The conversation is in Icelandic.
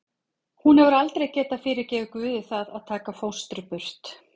Hún hefur aldrei getað fyrirgefið Guði það að taka fóstru burt.